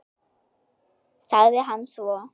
sagði hann svo.